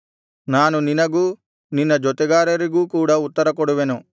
ನಾನು ನಿನಗೂ ನಿನ್ನ ಜೊತೆಗಾರರಿಗೂ ಕೂಡ ಉತ್ತರಕೊಡುವೆನು